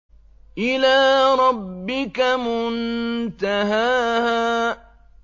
إِلَىٰ رَبِّكَ مُنتَهَاهَا